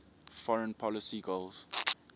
foreign policy goals